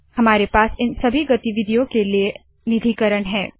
हमारे पास इन सभी गतिविधियों के लिए निधिकरण है